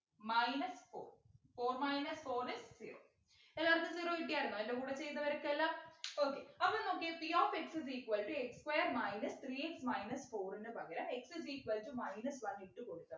minus four four minus four is zero എല്ലാർക്കും zero കിട്ടിയാർന്നോ എൻ്റെ കൂടെ ചെയ്തവർക്കെല്ലാം okay അപ്പൊ നോക്കിയെ p of x is equal to x square minus three x minus four നു പകരം x is equal to minus one ഇട്ടു കൊടുത്താൽ